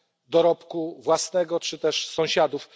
dorobku własnego czy też sąsiadów.